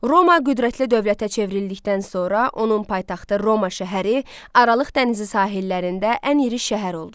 Roma qüdrətli dövlətə çevrildikdən sonra onun paytaxtı Roma şəhəri Aralıq dənizi sahillərində ən iri şəhər oldu.